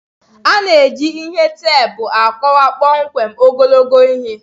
A na-eji ihe teepu akọwa kpọmkwem ogologo ihe.